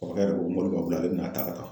Kɔrɔkɛ de ko mɔbili b'a bolo ale bɛn'a ta ka taa.